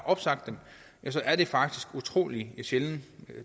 opsagt så er det faktisk utrolig sjældent